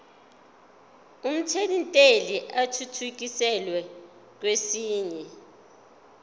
omthelintela athuthukiselwa kwesinye